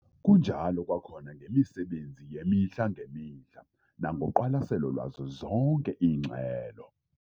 Kunjalo kwakhona ngemisebenzi yemihla ngemihla nangoqwalaselo lwazo zonke iingxelo.